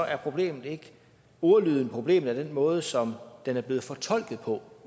er problemet ikke ordlyden problemet er den måde som den er blevet fortolket på